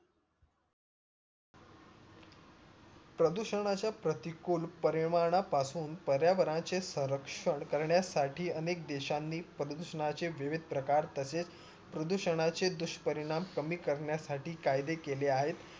प्रदुषणाच्या प्रतीकुल परिणापासून पर्यावरणाच्या सर्वक्षण करण्यासाठी अनेक देशांनी प्रदूषणाचे विविध प्रकार तसेच प्रदूषणाचे दुष्परिणाम कमी करण्यासाठी कायदे केले आहे